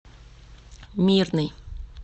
мирный